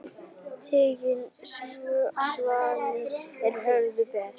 Tigin svanni á höfði ber.